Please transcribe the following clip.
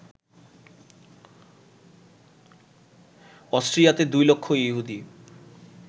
অস্ট্রিয়াতে ২ লক্ষ ইহুদী